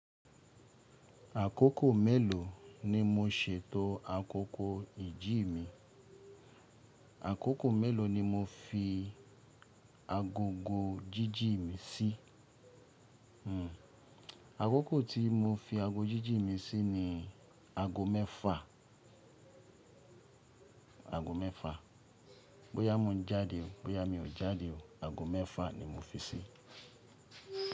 Àkókò mélòó ni mo ṣètò àgógò ìjí mi? Àkókò mélòó ni mo fi agogo jíjì mi sí? Hmm. Àkókò tí mo fi ago jíjì mi sí ni aago mẹ́fà. Aago mẹ́fà. Bóyá mo ń jáde o, bóyá mi ò jáde o, aago mẹ́fà ni mo fi síí.